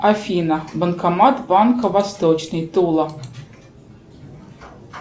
афина банкомат банка восточный тула